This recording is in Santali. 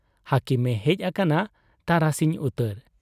ᱦᱟᱹᱠᱤᱢᱮ ᱦᱮᱡ ᱟᱠᱟᱱᱟ ᱛᱟᱨᱟᱥᱤᱧ ᱩᱛᱟᱹᱨ ᱾